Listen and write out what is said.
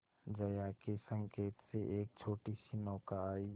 जया के संकेत से एक छोटीसी नौका आई